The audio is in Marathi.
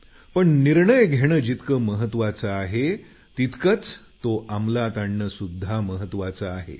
पण निर्णय घेणं जितकं महत्त्वाचं आहे तितकंच तो अंमलात आणणं सुध्दा महत्त्वाचं आहे